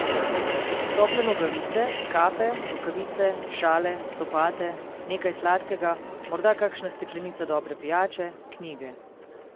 Tople nogavice, kape, rokavice, šale, copate, nekaj sladkega, morda kakšna steklenica dobre pijače, knjige ...